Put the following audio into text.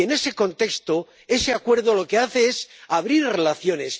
Y, en ese contexto, ese Acuerdo lo que hace es abrir relaciones.